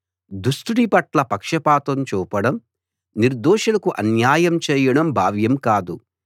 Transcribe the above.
దుష్టుడి పట్ల పక్షపాతం చూపుడం నిర్దోషులకు అన్యాయం చేయడం భావ్యం కాదు